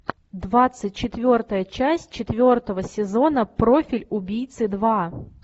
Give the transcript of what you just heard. двадцать четвертая часть четвертого сезона профиль убийцы два